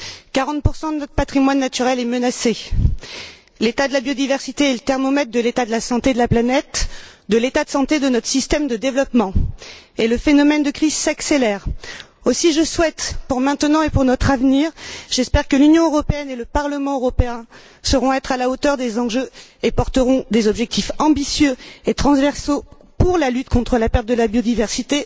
40 de notre patrimoine naturel est menacé. L'état de la biodiversité est le thermomètre de l'état de santé de la planète, de l'état de santé de notre système de développement, et le phénomène de crise s'accélère. Aussi, j'espère que, aujourd'hui et demain, l'Union européenne et le Parlement européen sauront être à la hauteur des enjeux et porteront des objectifs ambitieux et transversaux pour la lutte contre la perte de biodiversité,